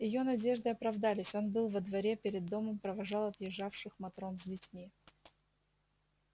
её надежды оправдались он был во дворе перед домом провожал отъезжавших матрон с детьми